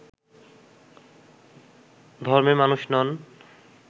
ধর্মের মানুষ নন